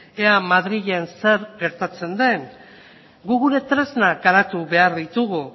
ea madrilen zer gertatzen den guk gure tresnak garatu behar ditugu